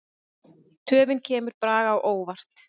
Töfin kemur Braga á óvart.